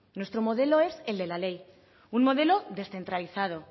nuestro modelo es el de la ley un modelo descentralizado